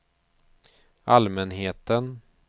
allmänheten